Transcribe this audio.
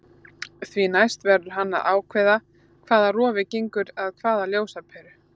Því næst verður hann að ákveða hvaða rofi gengur að hvaða ljósaperu.